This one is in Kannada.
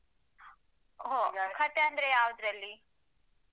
ಹಾ ಹೊ ಕಥೆ ಅಂದ್ರೆ ಯಾವುದ್ರಲ್ಲಿ.